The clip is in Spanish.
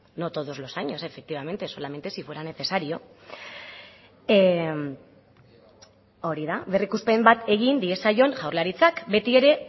no todos los años efectivamente solamente si fuera necesario hori da berrikuspen bat egin diezaion jaurlaritzak beti ere